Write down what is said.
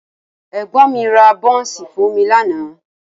Ẹ̀gbọ́n mi ra bọ́ńsì fún mi lánàá